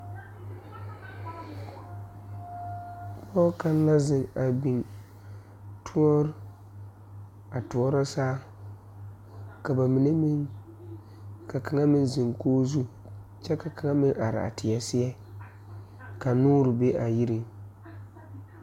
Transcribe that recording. Pɔɔ kaŋ la zeŋ kɔge tɔɔre a toɔrɔ saao ka ba mine meŋ ka kaŋa meŋ zeŋ koge zu kyɛ ka kaŋa meŋ araa teɛ seɛ ka noore be a yiriŋ.